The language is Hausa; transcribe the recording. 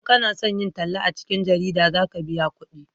in kana son yin talla a cikin jarida za ka biya kudi